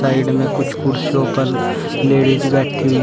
Side में कुछ कुर्सियों पर लेडिज बैठी हुई है।